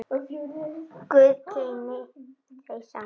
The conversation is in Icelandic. Guð geymi þau saman.